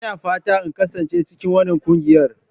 Ina fatan in kasance cikin wannan ƙungiyar.